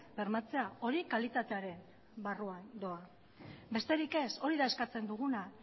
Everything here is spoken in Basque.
bermatzea hori kalitatearen barruan doa besterik ez hori da eskatzen duguna